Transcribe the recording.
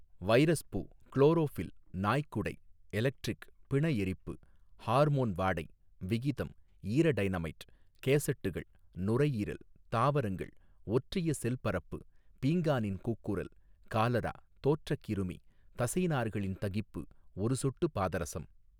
வைரஸ்பூ chlorophyll நாய்க்குடை electric பிண எரிப்பு ஹார்மோன் வாடை விகிதம் ஈரடைனமைட் கேஸட்டுகள் நுரையீரல் தாவரங்கள் ஒற்றிய ஸெல் பரப்பு பீங்கானின் கூக்குரல் காலரா தோற்றக் கிருமி தசைநார்களின் தகிப்பு ஒரு சொட்டு பாதரஸம்.